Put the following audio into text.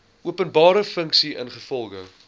openbare funksie ingevolge